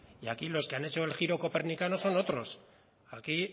y aquí los que han hecho el giro copernicano son otros aquí